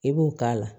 I b'o k'a la